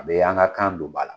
A bɛ an ka kan don ba la.